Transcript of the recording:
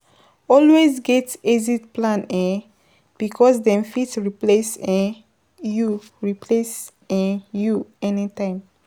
Always get exit plan um because dem fit replace um you replace um you anytime